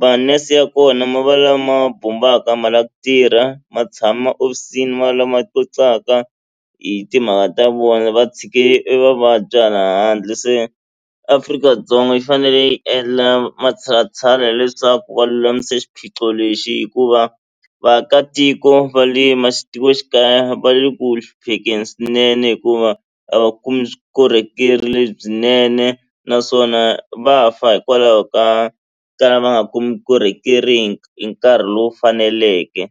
ma nurse ya kona ma va lama bombaku a ma lava ku tirha ma tshama hofisini ma lama hi timhaka ta vona va tshike evavabyi hala handle se Afrika-Dzonga yi fanele yi endla matshalatshala leswaku va lulamise xiphiqo lexi hikuva vaakatiko va le matikoxikaya va le ku hluphekeni swinene hikuva a va kumi vukorhokeri lebyinene naswona va fa hikwalaho ka ka lava va nga kumi vukorhokeri hi nkarhi lowu faneleke.